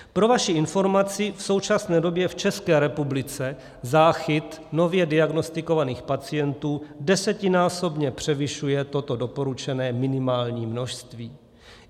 Pro vaši informaci, v současné době v České republice záchyt nově diagnostikovaných pacientů desetinásobně převyšuje toto doporučené minimální množství.